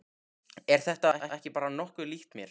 Er þetta ekki bara nokkuð líkt mér?